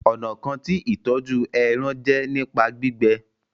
Ọnà kán tí ìtọjú èràn jé nípa gbígbẹ